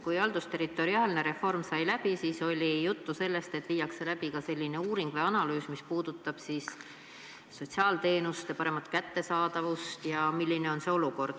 Kui haldusterritoriaalne reform sai läbi, siis oli juttu sellest, et viiakse läbi uuring või analüüs, mis puudutab sotsiaalteenuste paremat kättesaadavust ja seda olukorda.